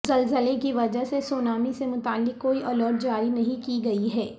زلزلہ کی وجہ سے سونامی سے متعلق کوئی الرٹ جاری نہیں کی گئی ہے